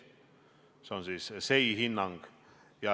See on SEI hinnang.